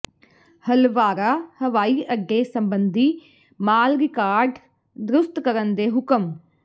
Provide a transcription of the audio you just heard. ਹਲਵਾਰਾ ਹਵਾਈ ਅੱਡੇ ਸਬੰਧੀ ਮਾਲ ਰਿਕਾਰਡ ਦਰੁਸਤ ਕਰਨ ਦੇ ਹੁਕਮ